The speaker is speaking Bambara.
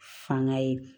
Fanga ye